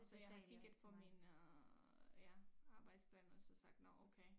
Så jeg kiggede på min øh ja arbejdsplan og så sagt nå okay